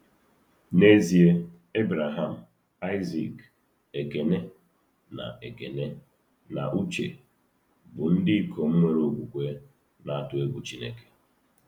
N’ezie, Ebreham, Aịzik, Ekene, na Ekene, na Uche bụ ndị ikom nwere okwukwe na-atụ egwu Chineke.